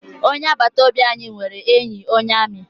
Onye agbata obi anyị nwere enyi onye amị.